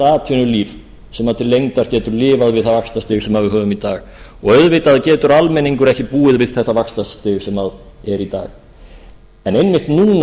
atvinnulíf sem til lengdar getur lifað við það vaxtastig sem við höfum í dag og auðvitað getur almenningur ekki búið við þetta vaxtastig sem er í dag en einmitt núna